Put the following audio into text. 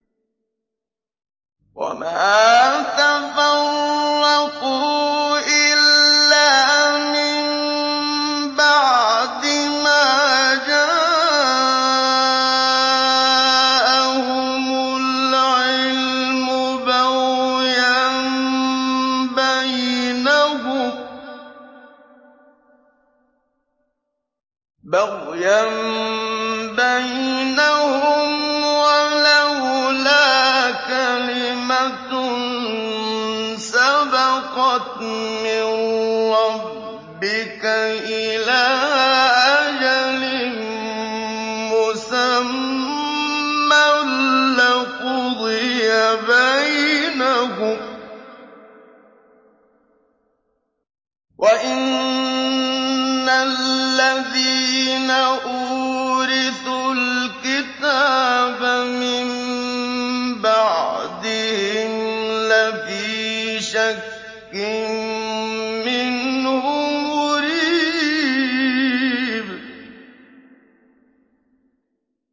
وَمَا تَفَرَّقُوا إِلَّا مِن بَعْدِ مَا جَاءَهُمُ الْعِلْمُ بَغْيًا بَيْنَهُمْ ۚ وَلَوْلَا كَلِمَةٌ سَبَقَتْ مِن رَّبِّكَ إِلَىٰ أَجَلٍ مُّسَمًّى لَّقُضِيَ بَيْنَهُمْ ۚ وَإِنَّ الَّذِينَ أُورِثُوا الْكِتَابَ مِن بَعْدِهِمْ لَفِي شَكٍّ مِّنْهُ مُرِيبٍ